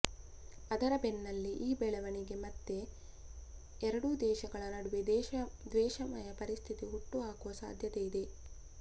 ಅದರ ಬೆನ್ನಲ್ಲೇ ಈ ಬೆಳವಣಿಗೆ ಮತ್ತೆ ಎರಡೂ ದೇಶಗಳ ನಡುವೆ ದ್ವೇಷಮಯ ಪರಿಸ್ಥಿತಿ ಹುಟ್ಟು ಹಾಕುವ ಸಾಧ್ಯತೆ ಇದೆ